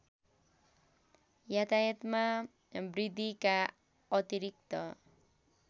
यातायातमा वृद्धिका अतिरिक्त